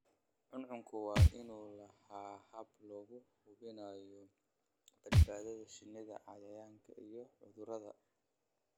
Cuncunku waa inuu lahaadaa habab lagu hubinayo badbaadada shinnida cayayaanka iyo cudurrada.